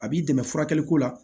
A b'i dɛmɛ furakɛliko la